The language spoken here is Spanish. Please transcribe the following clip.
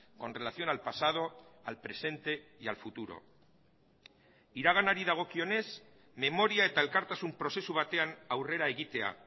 con relación al pasado al presente y al futuro iraganari dagokionez memoria eta elkartasun prozesu batean aurrera egitea